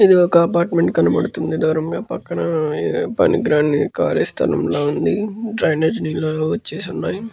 ఇది ఒక అపార్ట్మెంట్ కనబడుతుంది. దూరంగా పక్కన పనికిరాని ఖాళీ స్థలం లా ఉంది. డ్రైనేజ్ నీళ్ళు కూడా వచ్చేసి ఉన్నాయి.